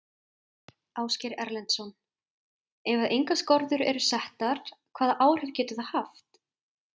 Ásgeir Erlendsson: Ef að engar skorður eru settar hvaða áhrif getur það haft?